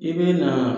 I bɛ na